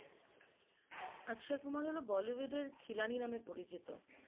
অক্ষয় কুমার হল bollywood এর খিলানি নামে পরিচিত